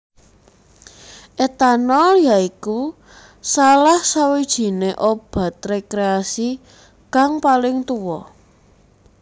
Etanol ya iku salah sawijiné obat rekreasi kang paling tuwa